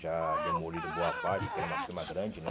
Já demoliram boa parte, porque era uma firma grande, né?